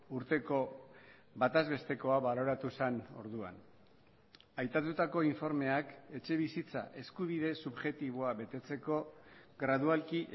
urteko bataz bestekoa baloratu zen orduan aipatutako informeak etxebizitza eskubide subjektiboa betetzeko gradualki